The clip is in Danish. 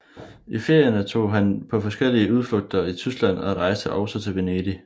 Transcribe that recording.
I ferierne tog han på forskellige udflugter i Tyskland og rejste også til Venedig